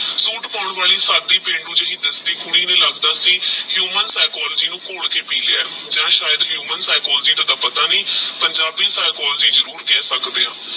ਵਾਲੀ ਸਾਡੀ ਪਿੰਡੁ ਜੀ ਕੁੜੀ ਨੂ ਲਗਦਾ ਹੀ ਨੂ ਘੋਲ ਕੇ ਪੀ ਲੇਯ ਆਹ ਯਾ ਦਾ ਪਤਾ ਨਹੀ ਪੰਜਾਬੀ ਜਰੁਰ ਕਹ ਸਕਦੇ ਆਹ